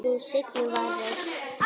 Sú seinni var reist